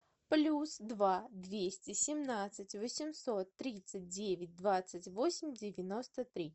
плюс два двести семнадцать восемьсот тридцать девять двадцать восемь девяносто три